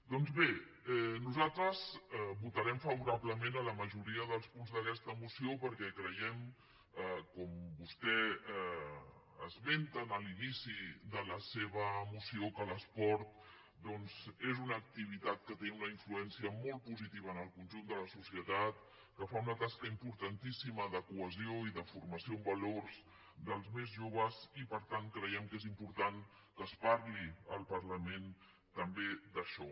doncs bé nosaltres votarem favorablement a la majoria dels punts d’aquesta moció perquè creiem com vostè esmenta en l’inici de la seva moció que l’esport doncs és una activitat que té una influència molt positiva en el conjunt de la societat que fa una tasca importantíssima de cohesió i de formació en valors dels més joves i per tant creiem que és important que es parli al parlament també d’això